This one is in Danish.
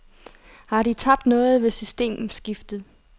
Har de tabt noget ved systemskiftet?